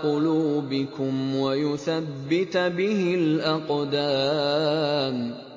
قُلُوبِكُمْ وَيُثَبِّتَ بِهِ الْأَقْدَامَ